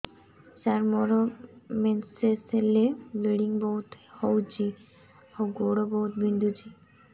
ସାର ମୋର ମେନ୍ସେସ ହେଲେ ବ୍ଲିଡ଼ିଙ୍ଗ ବହୁତ ହଉଚି ଆଉ ଗୋଡ ବହୁତ ବିନ୍ଧୁଚି